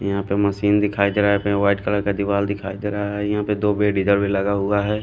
यहाँ पे मशीन दिखाई दे रहा है यहाँ पे वाइट कलर का दीवार दिखाई दे रहा है यहाँ पे दो बेड इधर भी लगा हुआ हैं।